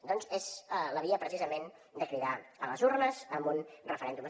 doncs és la via precisament de cridar a les urnes en un referèndum